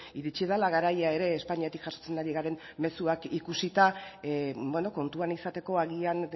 iritsi dela garaia ere espainiatik jasotzen ari garen mezuak ikusita kontuan izateko agian